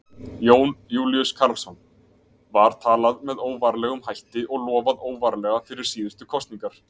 Jón Júlíus Karlsson: Var talað með óvarlegum hætti og lofað óvarlega fyrir síðustu kosningar?